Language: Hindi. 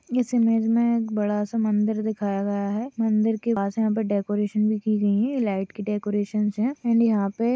इस इमेज में एक बड़ा-सा मंदिर दिखाया गया है मंदिर के पास यहाँ पे डेकोरेशन भी की गयी है लाईट की डेकोरेशंस है एंड यहाँ पे --